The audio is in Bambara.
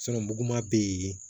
muguma bɛ yen